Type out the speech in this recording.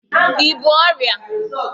i bú ọrịa?